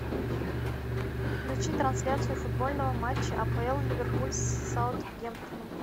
включи трансляцию футбольного матча апл ливерпуль с саутгемптоном